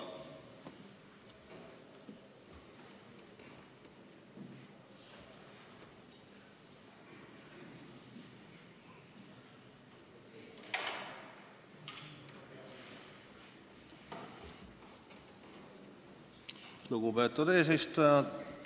Lugupeetud eesistuja!